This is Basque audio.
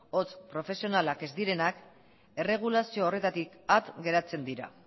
hots profesionalak ez direnak erregulazio horretatik at geratzen dira